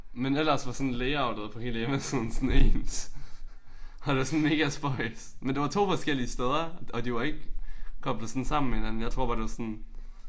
Men ellers var sådan layoutet på hele hjemmesiden sådan ens. Og det er sådan megaspøjst. Og det var 2 forskellige steder og de var ikke sådan koblet sådan sammen med hinanden jeg tror bare det var sådan